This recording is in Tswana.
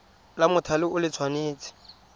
la mothale o le tshwanetse